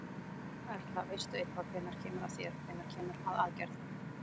Erla: Veistu eitthvað hvenær kemur að þér, hvenær kemur að aðgerð?